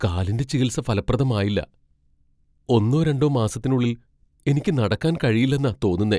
കാലിന്റെ ചികിത്സ ഫലപ്രദമായില്ല. ഒന്നോ രണ്ടോ മാസത്തിനുള്ളിൽ എനിക്ക് നടക്കാൻ കഴിയില്ലെന്നാ തോന്നുന്നേ.